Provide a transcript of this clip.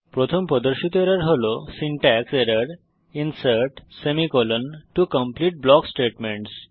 প্রথম প্রদর্শিত এরর হল syntax error insert to complete block statements